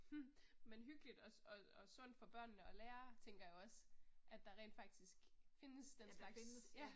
Hm, men hyggeligt også, og og sundt for børnene at lære, tænker jeg også, at der rent faktisk findes den slags, ja